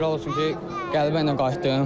Şükürlər olsun ki, qələbə ilə qayıtdım.